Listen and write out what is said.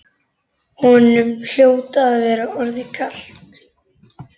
Honum hljóti að vera orðið kalt.